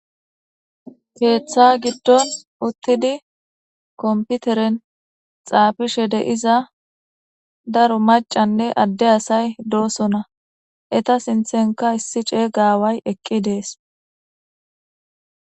keeththa giddon uttidi komputeren xaafishe de7iza daro macanne adde asay doosona eta sinthenka issi ceeyga aaway eqqi dees.